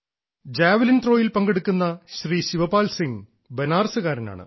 javelin ത്രോയിൽ പങ്കെടുക്കുന്ന ശ്രീ ശിവപാൽ സിംഗ് ബനാറസുകാരനാണ്